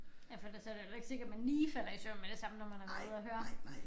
Ja for ellers så det jo heller ikke sikkert man lige falder i søvn med det samme når man har været ude at høre